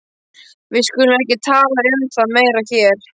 Við skulum ekki tala um það meira hér.